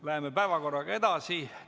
Läheme päevakorraga edasi.